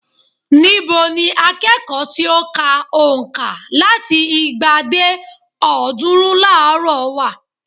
Ní bo ni akẹ́kọ̀ọ́ tí ó ka ònka láti igba dé ọ̀ọ́dúnrún láàárò wà?